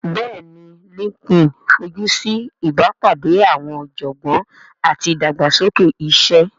Bẹ́ẹ̀ni LinkedIn fojú sí ìbápàdé àwọn ọ̀jọ̀gbọ́n àti ìdàgbàsókè iṣẹ́